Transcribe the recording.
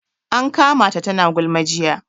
An kama ta tana gulma jiya